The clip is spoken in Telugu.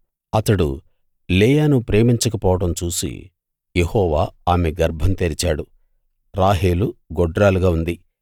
అతడు లేయాను ప్రేమించక పోవడం చూసి యెహోవా ఆమె గర్భం తెరిచాడు రాహేలు గొడ్రాలుగా ఉంది